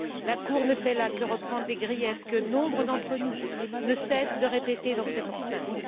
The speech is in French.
La Cour ne fait là que reprendre les griefs que nombre d'entre nous ne cessent de répéter dans cette enceinte.